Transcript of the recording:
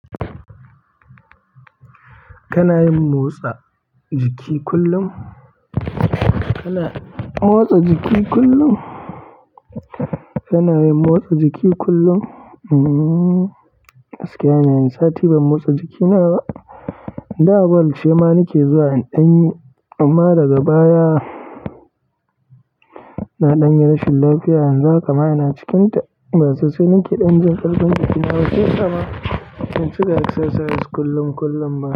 Kana yin motsa jiki kullum? Kana motsa jiki kullum? Kana yin motsa jiki kullum? Hmmm, gaskiya ina yin, sati ban motsa jikina ba. Da ball ce ma nake zuwa inda anyi, amma daga baya na ɗanyi rashin lafiya yanzu haka ma ina cikin ta ba sosai nake ɗan jin ƙarfin jikina, shiyasa ma ban chika exercise kullum-kullum ba.